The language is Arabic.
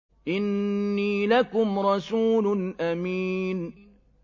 إِنِّي لَكُمْ رَسُولٌ أَمِينٌ